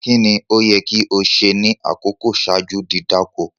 Kíni o yẹ ki o ṣe ní akọkọ̀ ṣaaju di dákọ̀?